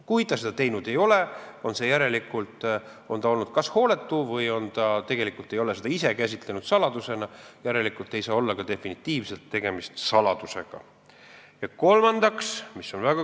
Kui ta seda teinud ei ole, on ta olnud kas hooletu või ei ole ta tegelikult ise seda käsitlenud saladusena, järelikult ei saa definitiivselt saladusega tegemist olla.